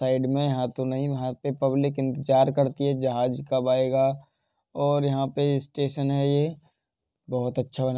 Side में हाँ तो नहीं वहां पे पब्लिक इंतज़ार करती है जहाज कब आयगा और ये यहाँ पे स्टेशन है ये। बोहोत अच्छा बना --